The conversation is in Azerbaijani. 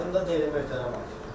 Yadımda deyil, möhtərəm hakim.